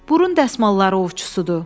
Burun dəsmalları ovçusudur!